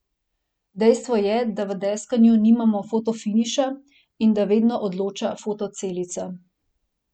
Dejstvo je, da v deskanju nimamo fotofiniša in da vedno odloča fotocelica.